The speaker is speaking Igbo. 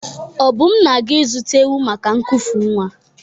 Obum na-aga ịzụta ewu maka nkufu nwa.